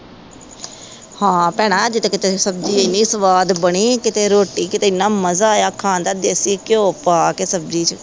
ਹਾਂ ਭੈਣਾਂ ਅੱਜ ਤੇ ਕਿਤੇ ਸਬਜ਼ੀ ਏਨੀ ਸਵਾਦ ਬਣੀ ਕਿਤੇ ਰੋਟੀ ਕਿਤੇ ਇਹਨਾਂ ਮਜ਼ਾ ਆਇਆ ਖਾਣ ਦਾ ਦੇਸੀ ਘਿਓ ਪਾ ਕੇ ਸਬਜ਼ੀ ਚ